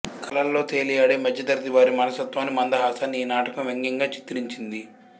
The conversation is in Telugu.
కలల్లో తేలియాడే మధ్యతరగతి వారి మనస్తత్వాన్ని మందహాసాన్ని ఈ నాటకం వ్యంగ్యంగా చిత్రించింది